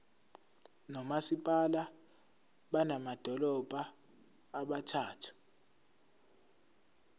nomasipala bamadolobha abathathu